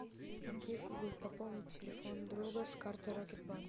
окей гугл пополнить телефон друга с карты рокет банк